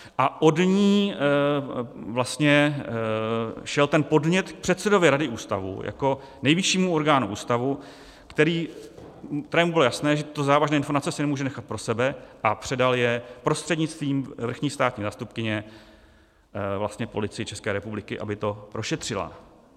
A od ní vlastně šel ten podnět k předsedovi rady ústavu jako nejvyššímu orgánu ústavu, kterému bylo jasné, že tyto závažné informace si nemůže nechat pro sebe, a předal je prostřednictvím vrchní státní zástupkyně vlastně Policii České republiky, aby to prošetřila.